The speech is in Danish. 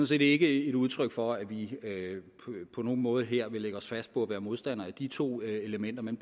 set ikke et udtryk for at vi på nogen måde her vil lægge os fast på at være modstander af de to elementer men